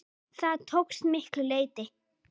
Það tókst að miklu leyti.